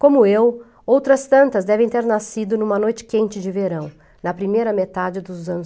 Como eu, outras tantas devem ter nascido em uma noite quente de verão, na primeira metade dos anos